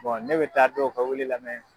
ne bɛ taa dɔw ka wele lamɛn.